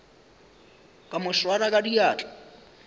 ka mo swara ka diatla